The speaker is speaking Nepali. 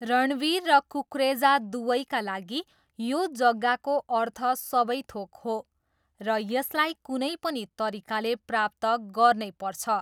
रणवीर र कुकरेजा दुवैका लागि यो जग्गाको अर्थ सबै थोक हो र यसलाई कुनै पनि तरिकाले प्राप्त गर्नैपर्छ।